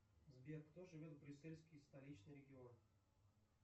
сбер кто живет в брюссельский столичный регион